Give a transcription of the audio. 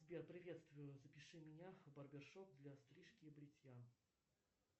сбер приветствую запиши меня в барбершоп для стрижки и бритья